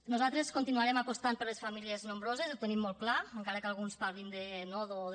nosaltres continuarem apostant per les famílies nombroses ho tenim molt clar encara que alguns parlin de nodo o de